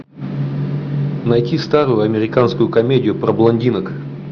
найти старую американскую комедию про блондинок